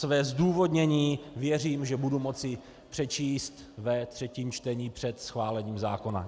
Své zdůvodnění, věřím, že budu moci přečíst ve třetím čtením před schválením zákona.